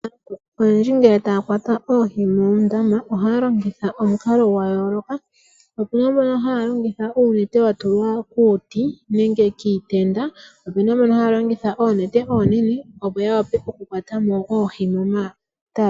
Aantu oyendji ngele taya kwata oohi moondama oha ya longitha omukalo gwa yooloka opu na mbono haya longitha uunete wa tulwa kuuti nenge kiitenda opu na mbono haya longitha oonete oonene opo ya wape okukwatamo oohi momatale.